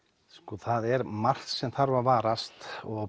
það er margt sem þarf að varast og